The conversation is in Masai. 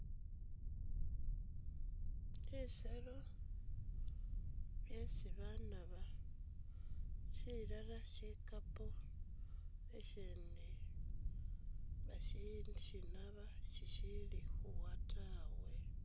Bisero byesi banaba shilala shikapo ishindi bashishinaba shishili khuwa tawe